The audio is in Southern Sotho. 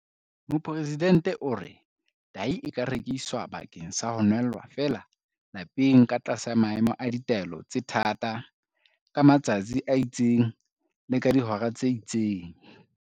Mopresidente o re- Tahi e ka rekiswa bakeng sa ho nwella feela lapeng ka tlasa maemo a ditaelo tse thata, ka matsatsi a itseng le ka dihora tse itseng.